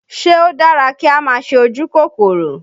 Ṣé ó dára kí á máa ṣe ojú kòkòrò?